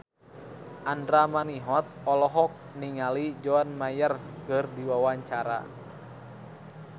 Andra Manihot olohok ningali John Mayer keur diwawancara